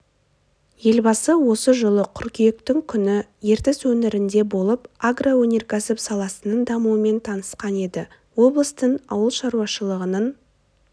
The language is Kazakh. елбасы осы жылы қыркүйектің күні ертіс өңірінде болып агроөнеркәсіп саласының дамуымен танысқан еді облыстың ауыл шаруашылығының